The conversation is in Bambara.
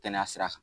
Kɛnɛya sira kan